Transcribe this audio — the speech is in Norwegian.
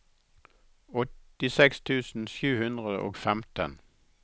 åttiseks tusen sju hundre og femten